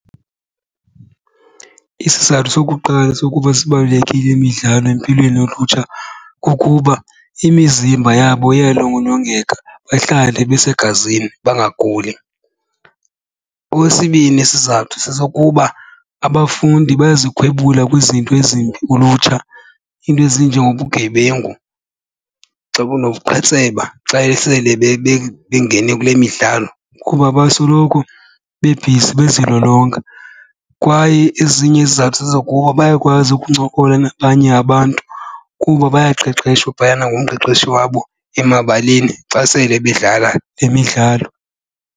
Isizathu sokuqala sokuba sibalulekile imidlalo empilweni yolutsha kukuba imizimba yabo iyalolongeka bahlale besegazini bangaguli. Okwesibini isizathu sesokuba abafundi bayazikhwebula kwizinto ezimbi kulutsha, iinto ezinjengobugebengu, xa bunobuqhetseba xa esele bengene kule midlalo kuba basoloko bebhizi bezilolonga. Kwaye ezinye izizathu zezokuba bayakwazi ukuncokola nabanye abantu kuba bayaqeshwa phayana ngumqeqeshi wabo emabaleni xa sele bedlala le midlalo.